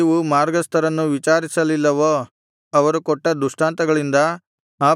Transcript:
ನೀವು ಮಾರ್ಗಸ್ಥರನ್ನು ವಿಚಾರಿಸಲಿಲ್ಲವೋ ಅವರು ಕೊಟ್ಟ ದೃಷ್ಟಾಂತಗಳಿಂದ